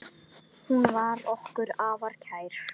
Hún var okkur afar kær.